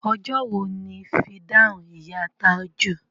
Ọjọ́ wo ni fìdáù ìyá Tájù?